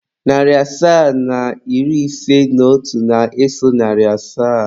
Narị asaa na iri ise na otu na-eso narị asaa.